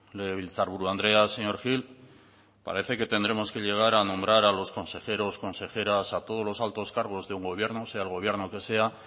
legebiltzarburu andrea señor gil que parece que tendremos que llegar a nombrar a los consejeros consejeras a todos los altos cargos de un gobierno sea el gobierno que sea